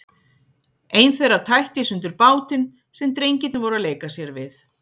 Ein þeirra tætti í sundur bátinn sem drengirnir voru að leika sér við.